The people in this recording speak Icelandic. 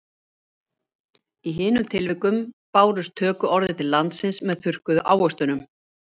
Í hinum tilvikunum bárust tökuorðin til landsins með þurrkuðu ávöxtunum.